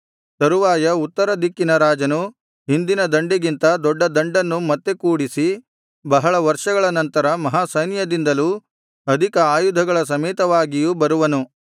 ತರುವಾಯ ಉತ್ತರ ದಿಕ್ಕಿನ ರಾಜನು ಹಿಂದಿನ ದಂಡಿಗಿಂತ ದೊಡ್ಡ ದಂಡನ್ನು ಮತ್ತೆ ಕೂಡಿಸಿ ಬಹಳ ವರ್ಷಗಳ ನಂತರ ಮಹಾ ಸೈನ್ಯದಿಂದಲೂ ಅಧಿಕ ಆಯುಧಗಳ ಸಮೇತವಾಗಿಯೂ ಬರುವನು